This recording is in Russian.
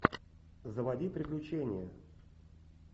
заводи приключения